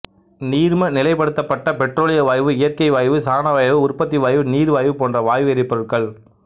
நீர்ம நிலைப்படுத்தப்பட்ட பெட்ரோலிய வாயு இயற்கை வாயு சாணவாயு உற்பத்தி வாயு நீர்வாயு போன்றன வாயு எரிபொருட்கள்